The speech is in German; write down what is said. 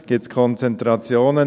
Gibt es irgendwo Konzentrationen?